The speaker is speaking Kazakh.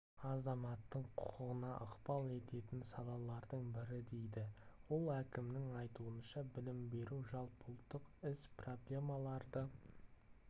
азаматтың құқығына ықпал ететін салалардың бірі дейді ол әкімнің айтуынша білім беру жалпыұлттық іс проблемаларды